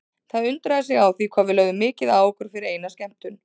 Það undraði sig á því hvað við lögðum mikið á okkur fyrir eina skemmtun.